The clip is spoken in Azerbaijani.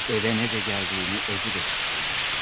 Evə necə gəldiyini özü də hiss eləmədi.